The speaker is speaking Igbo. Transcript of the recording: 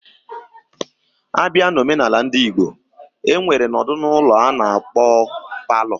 Abia na Ọmenala ndị Igbo, enwere nọdụ ụlọ ana-akpo parlour.